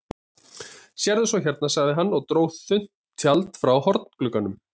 Sérðu svo hérna, sagði hann og dró þunnt tjald frá hornglugganum.